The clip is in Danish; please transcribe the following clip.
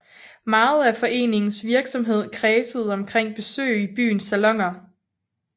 Meget af foreningens virksomhed kredsede omkring besøg i byens saloner